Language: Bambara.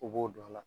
U b'o don a la